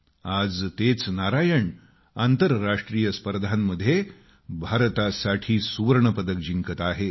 आज तेच नारायण आंतरराष्ट्रीय स्पर्धांमध्ये भारतासाठी सुवर्ण पदक जिंकत आहेत